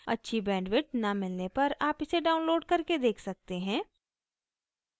अच्छी bandwidth न मिलने पर आप इसे download करके देख सकते हैं